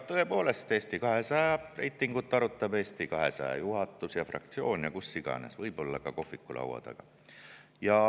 Tõepoolest, Eesti 200 reitingut arutab Eesti 200 juhatus ja fraktsioon, seda arutatakse kus iganes, võib-olla ka kohvikulaua taga.